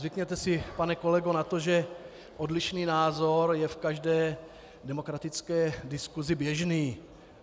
Zvykněte si, pane kolego, na to, že odlišný názor je v každé demokratické diskusi běžný.